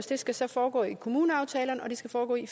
det skal så foregå i kommuneaftalerne og det skal foregå i